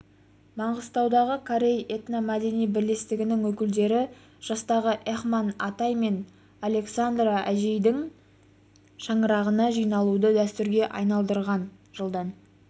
маңғыстаудағы корей этномәдени бірлестігінің өкілдері жастағы эхман атай мен александра әжейдің шаңырағына жиналуды дәстүрге айналдырған жылдан